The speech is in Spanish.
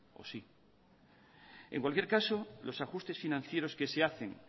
o sí en cualquier caso los ajustes financieros que se hacen